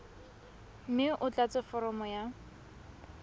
mme o tlatse foromo ya